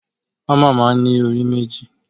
Hámà máa ń ní orí méjì.